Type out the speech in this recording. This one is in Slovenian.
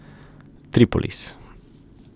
Tripolis.